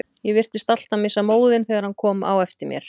Ég virtist alltaf missa móðinn þegar hann kom á eftir mér.